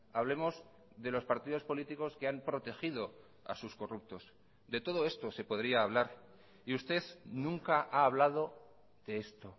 hablemos de los partidos políticos que han protegido a sus corruptos de todo esto se podría hablar y usted nunca ha hablado de esto